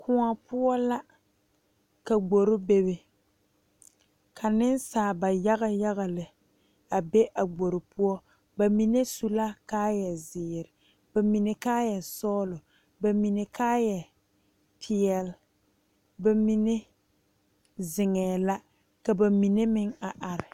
Kõɔ poɔ la ka gbore bebe ka nensaalba yaga yaga lɛ be a gbore poɔ bamine su la kaaya ziiri bamine kaaya sɔglɔ Bamine kaaya peɛle bamine zeŋee la ka bamine meŋ a are.